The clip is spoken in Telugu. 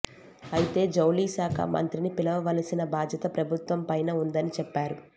అయితే జౌళి శాఖ మంత్రిని పిలవవలసిన బాధ్యత ప్రభుత్వంపైన ఉందని చెప్పారు